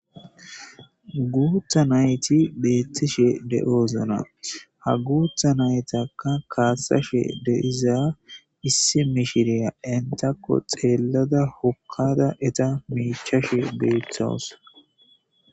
guutha nayti beettishe de7oozona ha guutha naytaka kaasashe de7iza issi mishiriya intakko xeellada hokkada eta miichashe beethawus